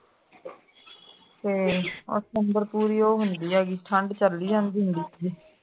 ਤੇ september ਪੂਰੀ ਉਹ ਹੁੰਦੀ ਹੈ ਕਿ ਠੰਡ ਝੱਲੀ ਜਾਂਦੀ ਹੁੰਦੀ ਇਥੇ